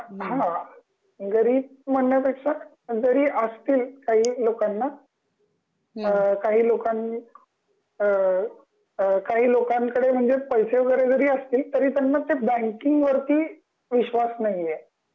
आणि ते हा .. गरीब म्हणण्या पेक्षा जरी असतील काही लोकांना काही लोकां अ अ काही लोकांकडे म्हणजे पैसे वगैरे जरी असतील तरी त्यांना ते बँकिंग वरती विश्वास नाही आहे